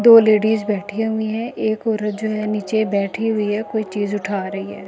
दो लेडीज बैठी हुई हैं एक औरत जो है नीचे बैठी हुई है कोई चीज उठा रही है।